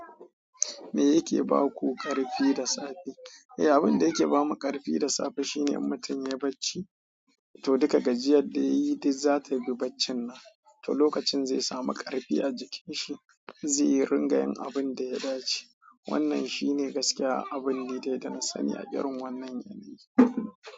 Me yake ba ku ƙarfi da safe? Eh, abin da yake ba mu ƙarfi da safe shine in mutum yayi bacci, to duka gajiyar da yayi duk za ta bi baccin nan. To lokacin zai samu ƙarfi a jikin shi, zai ringayin abun da ya dace. Wannan shi ne gaskiya, abin dai da na sani a irin wannan yanayi.